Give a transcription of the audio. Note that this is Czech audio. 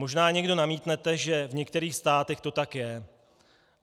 Možná někdo namítnete, že v některých státech to tak je.